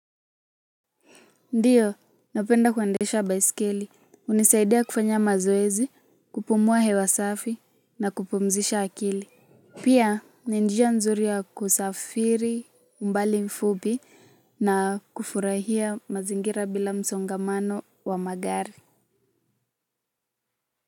Ndiyo napenda kuendesha baisikeli hunisaidia kufanya mazoezi kupumua hewa safi na kupumzisha akili pia ni njia nzuri ya kusafiri umbali mfupi na kufurahia mazingira bila msongamano wa magari.